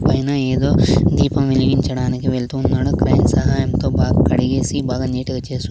పైన ఏదో దీపం వెలిగించడానికి వెళ్తున్నాడు క్రైన్ సహాయంతో బాగ్ కడిగేసి బాగా నీట్ గా చేసి--